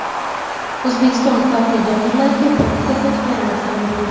O‘zbekiston faxriy donorlariga pul mukofoti beriladigan bo‘ldi.